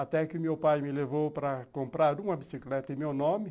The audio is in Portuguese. Até que meu pai me levou para comprar uma bicicleta em meu nome.